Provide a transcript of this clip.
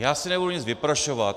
Já si nebudu nic vyprošovat.